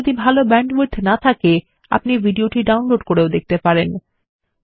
আপনার যদি ভাল ব্যান্ডউইডথ না থাকে আপনি এটি ডাউনলোড করেও দেখতে পারেন